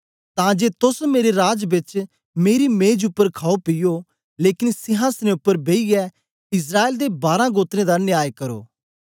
तां जे तोस मेरे राज बेच मेरी मेज उपर खाओपीयो लेकन सिहांसनें उपर बेईयै इस्राएल दे बारां गोत्रें दा न्याय करो